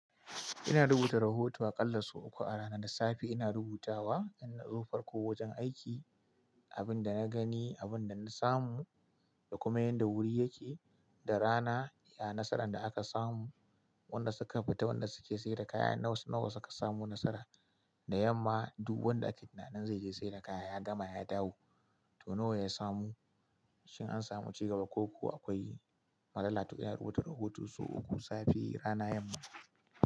Ina rubuta rahoto aƙalla sau uku a rana. Da safe ina rubutawa, inazo farko wajen aiki, abin da na gani, abin da na samu da kuma yanda wuri yake. Da rana, ya nasaran da aka samu, wanda suka fita, wanda suke sayar da kaya, naw nawa suka samo nasara. Da yamma du wanda ake tunanin zai je sayar da kaya, ya gama ya dawo, to nawa ya samu. Shin an samu cigaba ko kuwa akwai matsala. To ina rubuta rahoto sau uku, safe, rana, yamma.